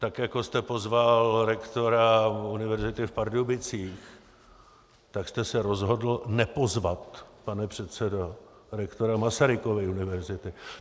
Tak jako jste pozval rektora univerzity v Pardubicích, tak jste se rozhodl nepozvat, pane předsedo, rektora Masarykovy univerzity.